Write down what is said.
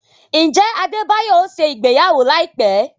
Njẹ Adebayo ọ ṣe ìgbéyàwó laipẹ?